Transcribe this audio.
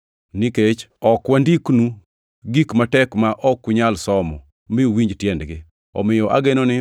Nikech ok wandiknu gik matek ma ok unyal somo mi uwinj tiendgi. Omiyo ageno ni,